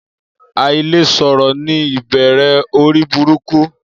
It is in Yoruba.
Aile soro ni ibere ori buruku.